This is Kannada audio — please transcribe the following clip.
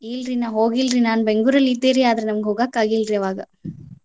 ಇಲ್ಲಾರೀ ನಾನ್ ಬೆಂಗ್ಳುರಲ್ಲಿ ಇದ್ದೇರಿ ಅದ್ರ್ ನಂಗ್ ಹೋಗಕಾಗಿಲ್ರಿ ಆವಾಗ.